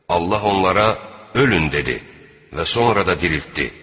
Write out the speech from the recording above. Allah onlara 'ölün' dedi və sonra da diriltdi.